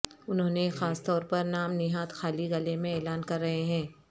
انہوں نے خاص طور پر نام نہاد خالی گلے میں اعلان کر رہے ہیں